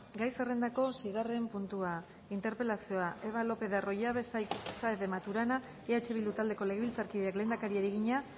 gai zerrendako seigarren puntua interpelazioa eva lopez de arroyabe saez de maturana eh bildu taldeko legebiltzarkideak lehendakariari egina